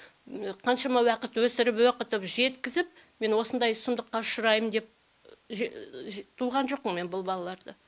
қаншама уақыт өсіріп оқытып жеткізіп мен осындай сұмдыққа ұшыраймын деп туған жоқпын мен бұл балаларды